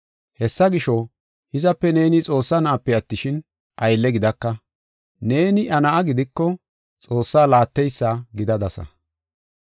Hessa gisho, hizape neeni Xoossaa na7ape attishin, aylle gidaka. Neeni iya na7a gidiko, Xoossaa laatteysa gidadasa.